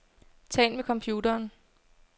Tal med computeren.